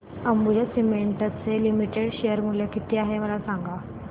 Ambuja cements limited share मूल्य किती आहे मला सांगा